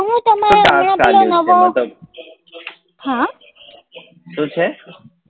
શું છે?